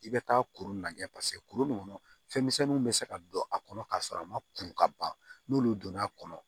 I bɛ taa kuru lajɛ paseke kuru nin kɔnɔ fɛnmisɛnninw bɛ se ka don a kɔnɔ k'a sɔrɔ a ma kuru ka ban n'olu donna a kɔnɔ